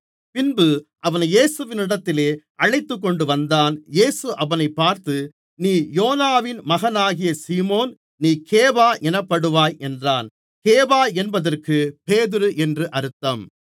பின்பு அவனை இயேசுவினிடத்தில் அழைத்துக்கொண்டுவந்தான் இயேசு அவனைப் பார்த்து நீ யோனாவின் மகனாகிய சீமோன் நீ கேபா எனப்படுவாய் என்றார் கேபா என்பதற்கு பேதுரு என்று அர்த்தம்